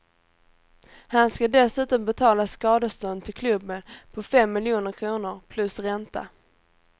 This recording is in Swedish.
Han ska dessutom betala skadestånd till klubben på fem miljoner kronor plus ränta.